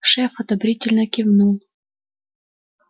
шеф одобрительно кивнул